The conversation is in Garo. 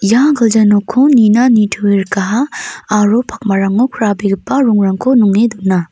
ia gilja nokko nina nitoe rikaha aro pakmarango krabegipa rongrangko nong·e dona.